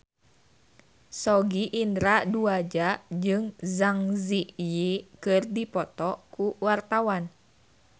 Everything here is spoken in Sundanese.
Sogi Indra Duaja jeung Zang Zi Yi keur dipoto ku wartawan